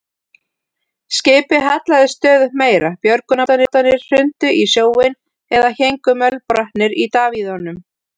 Skipið hallaðist stöðugt meira, björgunarbátarnir hrundu í sjóinn eða héngu mölbrotnir í davíðunum.